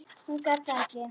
Hún gat það ekki.